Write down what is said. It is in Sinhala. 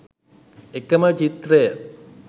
එකෙම චිත්‍රය